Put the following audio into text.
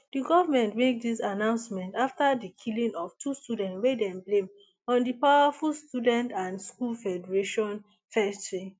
di goment make dis announcement afta di killing of two students wey dem blame on di powerful student and school federation fesci